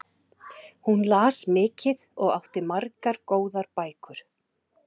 Hún las mikið og átti margar, góðar bækur.